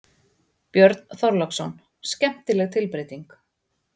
Björn Þorláksson: Skemmtileg tilbreyting?